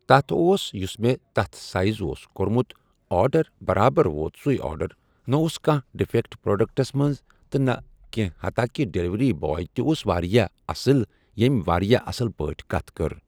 تَتھ اوس یُس مےٚ تتھ سایز اوس کورمُت آردڑ بَرابر ووت سُے آرڈر نہ اوس کانٛہہ ڈِفیکٹ پروڈکٹس منٛز نہٕ کیٚنٛہہ ہتا کہِ ڈیلؤری باے تہِ اوس واریاہ اَصٕل ییٚمۍ واریاہ اَصٕل پٲٹھۍ کَتھ کٔر۔